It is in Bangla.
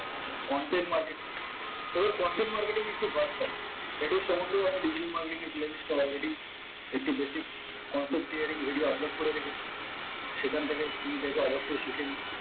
contant marketing এবার content marketing একটি এটি সম্বন্ধেও আমি digital marketing এর playlist এ already একটি basic content creating video upload করে রেখেছি সেখান থেকে তুমি দেখে অবশ্যই শিখে নিও